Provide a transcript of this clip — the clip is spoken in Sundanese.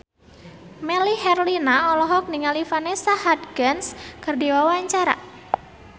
Melly Herlina olohok ningali Vanessa Hudgens keur diwawancara